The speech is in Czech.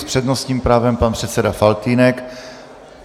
S přednostním právem pan předseda Faltýnek.